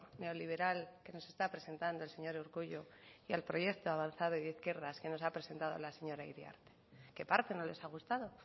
neoliberal que nos está presentado el señor urkullu y al proyecto avanzado y de izquierdas que nos ha presentado la señora iriarte qué parte no les ha gustado